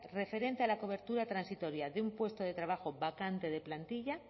referente a la cobertura transitoria de un puesto de trabajo vacante de plantilla